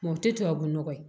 o tɛ tubabu nɔgɔ ye